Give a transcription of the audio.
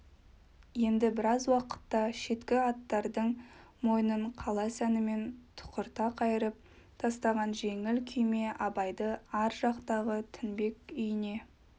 енді біраз уақытта шеткі аттардың мойнын қала сәнімен тұқырта қайырып тастаған жеңіл күйме абайды ар жақтағы тінбек үйіне